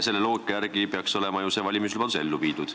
Selle loogika järgi peaks olema ju see valimislubadus ellu viidud.